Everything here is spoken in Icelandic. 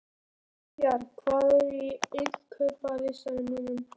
Diljar, hvað er á innkaupalistanum mínum?